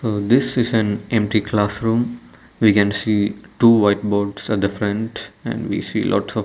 uh this is an empty classroom we can see two white boards at the front and we see lots of --